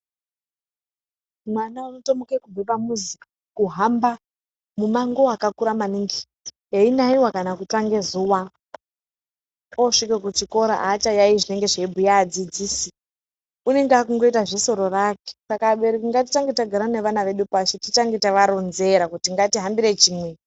Mwana unotomuke kubve pamuzi, kuhamba, mumango wakakura maningi einaiwa kana kutsva ngezuwa. Osvike kuchikora aachayaeyi zvinenga zveibhuya adzidzisi. Unenge akutoita zvesoro rake. Saka abereki ngatitange tagara nevana vedu pashi titange tavaronzera kuti ngatihambire chimwe.